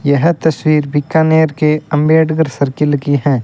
यह तस्वीर बीकानेर के अंबेडकर सर्किल की हैं।